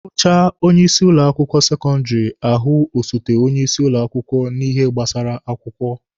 Ahụchaa onye isi ụlọ akwụkwọ sekọndịrị, ahụ osote onye isi ụlọ akwụkwọ na ihe gbasara akwụkwọ.